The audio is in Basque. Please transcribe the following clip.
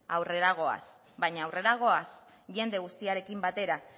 aurrera goaz baina aurrera goaz jende guztiarekin batera